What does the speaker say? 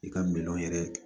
I ka miliyɔn yɛrɛ